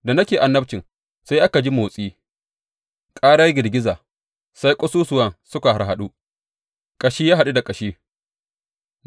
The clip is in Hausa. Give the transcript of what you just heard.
Da nake annabcin, sai aka ji motsi, ƙarar girgiza, sai ƙasusuwan suka harhaɗu, ƙashi ya haɗu da ƙashi.